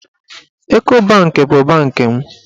Eko banki bụ bankị m.